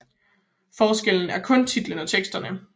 Forskellen er kun titlen og teksterne